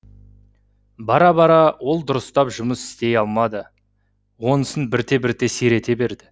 бара бара ол дұрыстап жұмыс істей алмады онысын бірте бірте сирете берді